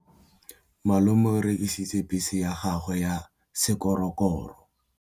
Malome o rekisitse bese ya gagwe ya sekgorokgoro.